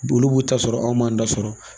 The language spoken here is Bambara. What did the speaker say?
Olu b'u ta sɔrɔ anw m'an ta sɔrɔ.